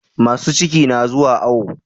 Masu ciki na zuwa awo